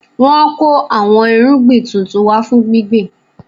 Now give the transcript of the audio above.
Wọn kò àwọn irúgbìn tuntun wá fún gbíngbin